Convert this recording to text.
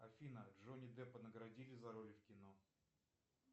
афина джонни деппа наградили за роли в кино